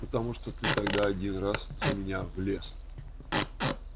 потому что ты тогда один раз за меня влез